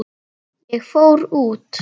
Ég fór út.